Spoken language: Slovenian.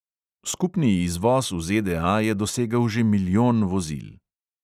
Skupni izvoz v ZDA je dosegel že milijon vozil.